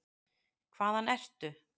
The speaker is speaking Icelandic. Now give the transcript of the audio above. Hvaðan ertu?